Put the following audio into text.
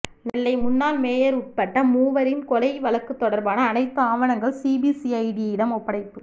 நெல்லை முன்னாள் மேயர் உட்பட மூவரின் கொலை வழக்கு தொடர்பான அனைத்து ஆவணங்கள் சிபிசிஐடியிடம் ஒப்படைப்பு